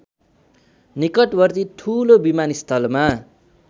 निकटवर्ती ठुलो विमानस्थलमा